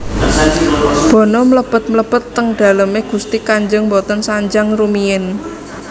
Bono mlebet mlebet teng daleme gusti kanjeng mboten sanjang rumiyin